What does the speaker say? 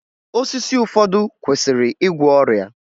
Osisi ụfọdụ kwesịrị igwọ ọrịa